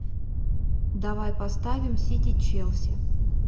давай поставим сити челси